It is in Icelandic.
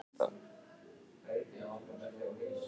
Okkur grunaði aldrei að það væri ÞETTA!